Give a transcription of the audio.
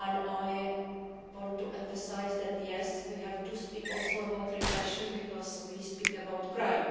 I want to emphasise that yes, we have to speak also about repression because we speak about crime,